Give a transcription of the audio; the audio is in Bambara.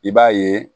I b'a ye